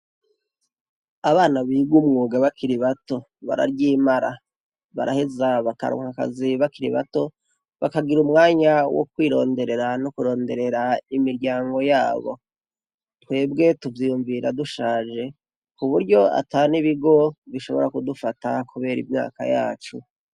Abana bigw’umwuga bakira ibato bararyimara, baraheza bakaronkakazi bakiri ibato bakagira umwanya wo kwironderera no kuronderera imiryango yabo , twebwe tuvyiyumvira dushaje ku buryo ata n' ibigo bishobora kudufata kubera imyaka yacu.